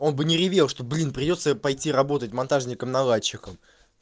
он бы не ревел что блин придётся пойти работать монтажником наладчиком